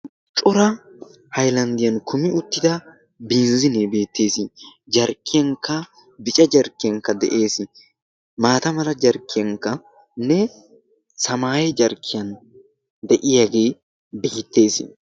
Cora haaylanddiyan kummi uttida binzziliya beettes. jarkkiyankka bicca jarkkiyankka de'ees. maata mala jarkkiyankkanne samaaye jarkkiyan de'iyaagee beettes